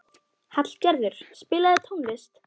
Hallgerður, spilaðu tónlist.